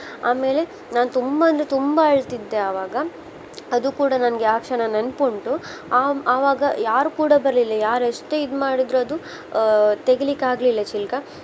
ಆಮೇಲೆ ನಾನ್ ತುಂಬಾ ಅಂದ್ರೆ ತುಂಬಾ ಅಳ್ತಿದ್ದೆ ಆವಾಗ ಅದು ಕೂಡ ನನಗೆ ಆ ಕ್ಷಣ ನೆನಪ್ ಉಂಟು ಆ ಆವಾಗ ಯಾರು ಕೂಡ ಬರ್ಲಿಲ್ಲ ಯಾರ್ ಎಷ್ಟೇ ಇದ್ ಮಾಡಿದ್ರು ಅದು ಆ ತೆಗಿಲಿಕ್ಕೆ ಆಗ್ಲಿಲ್ಲ ಚಿಲ್ಕಾ.